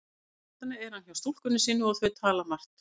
Síðustu nóttina er hann hjá stúlkunni sinni og þau tala margt.